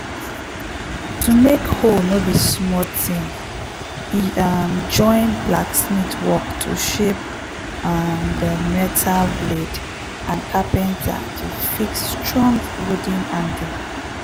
to make hoe no be small ting e um join blacksmith work to shape um the metal blade and carpenter to fix strong wooden handle